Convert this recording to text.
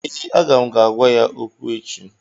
ee, Aga m ga-agwa ya okwu echi